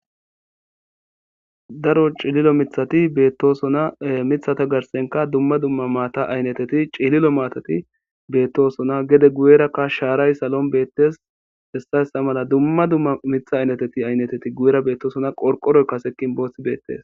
daro cililo mithati beettosona mithata garsenka dumma dumma maata aynneteti cililo maatati beettosona gede guyerakka shaaray salon beettes hessayssa mala dumma dumma mitha aynneteti aynneteti guyera beettosona qorqoroy kasekin boosi beettes